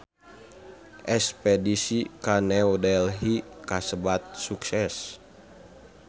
Espedisi ka New Delhi kasebat sukses